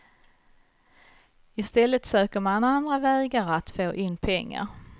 Istället söker man andra vägar att få in pengar.